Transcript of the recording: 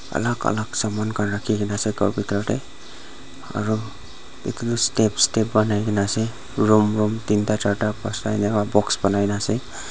alak alak saman khan rakhi kaenaase khor bitor tae aro edu toh step step banai kaenaase room room teen ta charta enika box banai naase.